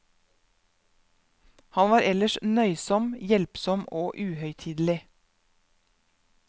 Han var ellers nøysom, hjelpsom og uhøytidelig.